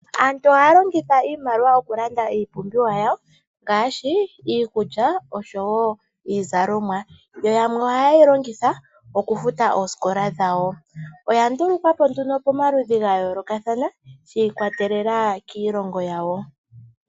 Aantu ohaya longitha iimaliwa okulanda iipumbiwa yawo ngaashi iikulya noshowo iizalomwa. Yamwe ohaye yi longitha okufuta oosikola dhawo. Oya ndulukwa po nduno pamaludhi ga yoolokathana shi ikwatelela kiilongo yawo.